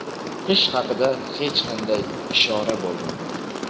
qish haqida hech qanday ishora bo‘lmagan.